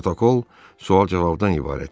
Protokol sual-cavabdan ibarət idi.